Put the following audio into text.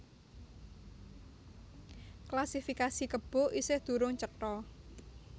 Klasifikasi kebo isih durung cetha